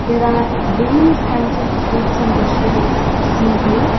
There are various kinds of fruits and vegetables seen here.